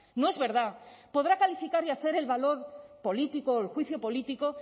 no es verdad podrá calificar y hacer el valor político o el juicio político